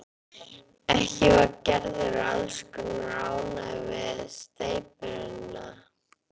Ekki var Gerður alls kostar ánægð með steypuvinnuna.